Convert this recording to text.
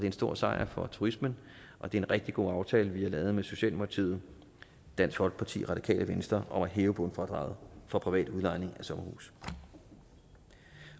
en stor sejr for turismen og det er en rigtig god aftale vi har lavet med socialdemokratiet dansk folkeparti radikale venstre om at hæve bundfradraget for privat udlejning af sommerhuse